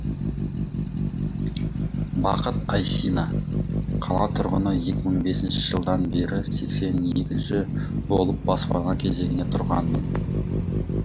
бақыт айсина қала тұрғыны екі мың бесінші жылдан бері сексен екінші болып баспана кезегіне тұрғанмын